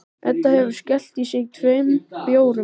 Edda hefur skellt í sig tveim bjórum.